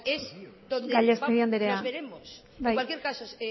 gallastegui andrea porque es donde nos veremos en cualquier caso